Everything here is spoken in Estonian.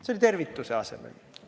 See oli tervituse asemel!